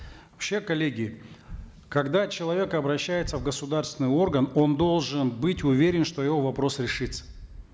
вообще коллеги когда человек обращается в государственный орган он должен быть уверен что его вопрос решится